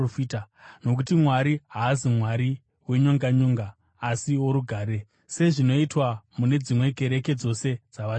Nokuti Mwari haasi Mwari wenyonganyonga asi worugare. Sezvinoitwa mune dzimwe kereke dzose dzavatsvene,